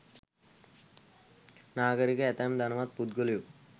නාගරික ඇතැම් ධනවත් පුද්ගලයෝ